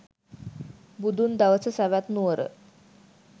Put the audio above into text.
බුදුන් දවස සැවැත් නුවර